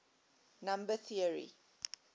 number theory